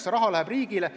See raha läheb riigile.